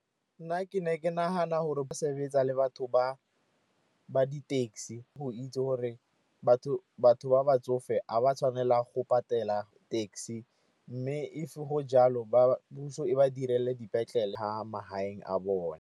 Nna ke ne ke nagana gore ba sebetsa le batho ba di-taxi go itse gore batho ba batsofe ga ba tshwanela go patela taxi. Mme if go ja lo puso e ba direle dipetlele magaeng a bone.